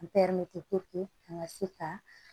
an ka se ka